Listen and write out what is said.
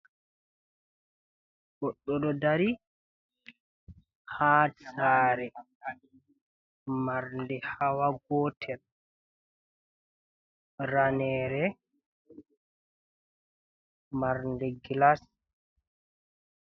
Goɗɗo ɗo dari ha sare marnde hawa gotel, ranere marnde glas.